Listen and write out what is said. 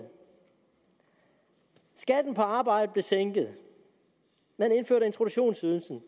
skatten på arbejde blev sænket at man indførte introduktionsydelsen